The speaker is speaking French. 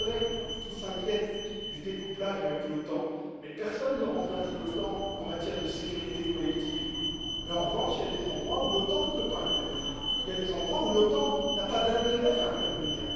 À mes collègues qui s'inquiètent du découplage avec l'OTAN personne ne remplace l'OTAN en matière de sécurité collective mais en revanche il y a des endroits où l'OTAN ne peut pas intervenir ou des endroits où l'OTAN n'a pas d'intérêt à intervenir.